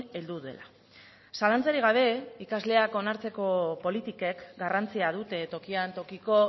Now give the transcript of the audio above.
heldu dela zalantzarik gabe ikasleak onartzeko politikek garrantzia dute tokian tokiko